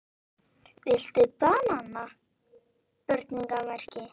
Viltu BANANA??